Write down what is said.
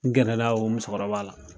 N gɛrɛla o musokɔrɔba la